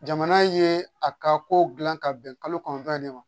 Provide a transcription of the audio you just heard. Jamana ye a ka kow gilan ka bɛn kalo kɔnɔntɔn in ne ma